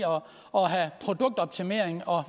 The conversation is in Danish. produktoptimering og